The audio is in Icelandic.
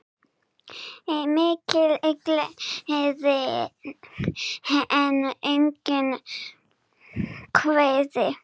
Mikil gleði en einnig kvíði.